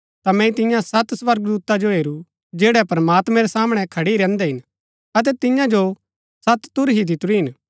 ता मैंई तियां सत स्वर्गदूता जो हेरू जैड़ै प्रमात्मैं रै सामणै खड़ी रैहन्दै हिन अतै तियां जो सत तुरही दितुरी हिन